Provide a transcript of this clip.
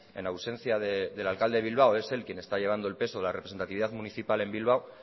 en ausencia del alcalde de bilbao es él quien está llevando el peso de la representatividad municipal en bilbao